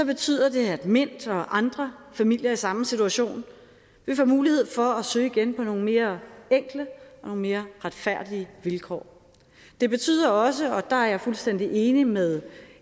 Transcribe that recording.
betyder det at mint og andre familier i samme situation vil få mulighed for at søge igen på nogle mere enkle og nogle mere retfærdige vilkår det betyder også og der er jeg fuldstændig enig med